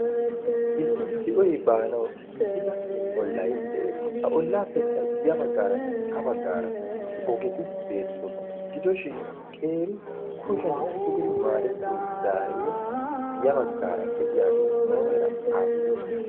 issi de'oy baanau giigida ollay de'ees. a ollaappekka ya baggaaranne ha baggaara ogexi beettoosona gidooshin qeeri kushen sugidi maarettiyo gaarie ya baggaara de'iyaagee muumeera aappunee?